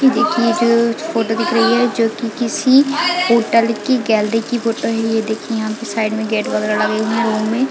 ये देखिए जो फोटो दिख रही है जो की किसी हॉटल की गैलरी की फोटो है ये देखिये यहाँ पे साइड में गेट वगैर लगे हुए है रूम में--